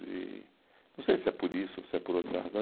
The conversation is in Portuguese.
e não sei se é por isso ou se é por outra razão.